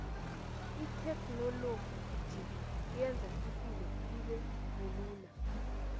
ithekhinoloji yenza ipilo ibebulula